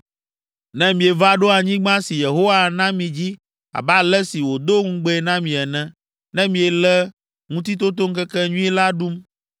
Ne mieva ɖo anyigba si Yehowa ana mi dzi abe ale si wòdo ŋugbee na mi ene, ne miele Ŋutitotoŋkekenyui la ɖum,